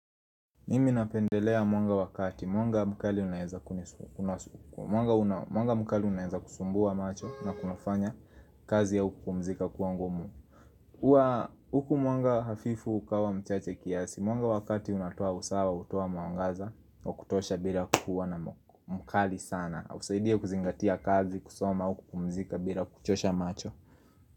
Mimi napendelea mwanga wakati, mwanga mkali unaeza kunisuku, mwanga mkali unaeza kusumbua macho na kunifanya kazi au kupumzika kuwa ngumu. Uwa huku mwanga hafifu ukawa mchache kiasi, mwanga wakati unatoa usawa, utoa mawangaza, wakutosha bila kukua na mkali sana. Usaidia kuzingatia kazi kusoma huku kupumzika bila kuchosha macho.